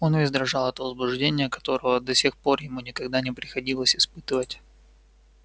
он весь дрожал от возбуждения которого до сих пор ему никогда не приходилось испытывать